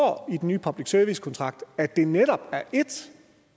i den nye public service kontrakt at det handicapidræt netop er et